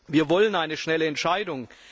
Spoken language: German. Wir wollen eine schnelle Entscheidung.